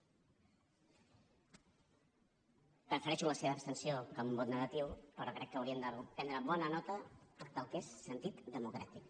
prefereixo la seva abstenció que un vot negatiu però crec que hauríem de prendre bona nota del que és sentit democràtic